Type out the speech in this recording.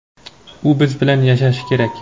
u biz bilan yashashi kerak.